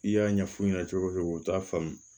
I y'a ɲɛf'u ɲɛna cogo cogo t'a faamu